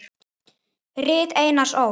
Rit Einars Ól.